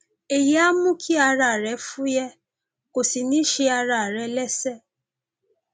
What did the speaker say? èyí á mú kí ara rẹ fúyẹ kò sì ní ṣe ara rẹ léṣe